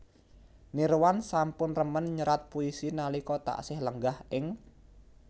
Nirwan sampun remen nyerat puisi nalika taksih lenggah ing